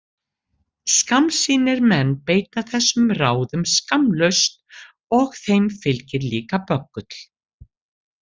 Skammsýnir menn beita þessum ráðum skammlaust og þeim fylgir líka böggull.